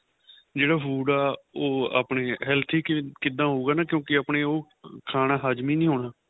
ਜਿਹੜਾ food ਆਂ ਉਹ ਆਪਣੇ healthy ਕਿੱਦਾ ਹਉਗਾ ਕਿਉਂਕਿ ਆਪਣੇ ਉਹ ਖਾਣਾ ਹਜਮ ਹੀ ਨਹੀਂ ਹੋਣਾ